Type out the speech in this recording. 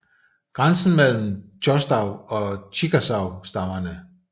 Grænsen mellem choctaw og chikasaw stammerne